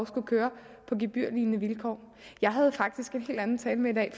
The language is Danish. skulle køre på gebyrlignende vilkår jeg havde faktisk en helt anden tale med i dag